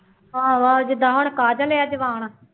ਆਹੋ ਆਹੋ ਜਿੱਦਾਂ ਹੁਣ ਕਾਜਲ ਹੈ ਜਵਾਨ